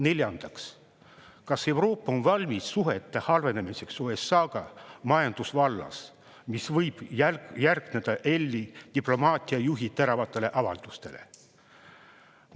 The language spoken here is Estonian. Neljandaks, kas Euroopa on valmis suhete halvenemiseks USA-ga majandusvallas, mis võib järgneda EL-i diplomaatia juhi teravatele avaldustele?